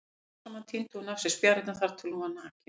Smám saman tíndi hún af sér spjarirnar þar til hún var nakin.